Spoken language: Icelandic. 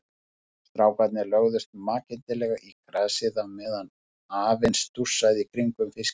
Strákarnir lögðust makindalega í grasið á meðan afinn stússaði í kringum fiskinn.